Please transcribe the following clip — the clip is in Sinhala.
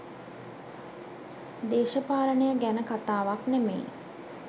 දේශපාලනය ගැන කතාවක් නෙමෙයි